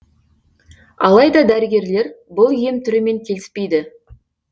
алайда дәрігерлер бұл ем түрімен келіспейді